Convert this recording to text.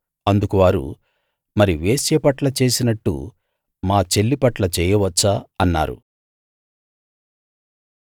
అందుకు వారు మరి వేశ్య పట్ల చేసినట్టు మా చెల్లి పట్ల చేయవచ్చా అన్నారు